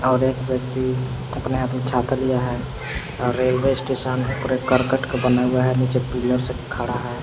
और एक व्यक्ति अपने हाथ में छाता लिया है रेलवे स्टेशन पूरे करकट का बना हुआ है नीचे पिलर से खड़ा है।